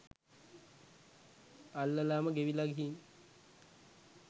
අල්ලලාම ගෙවිලා ගිහින්.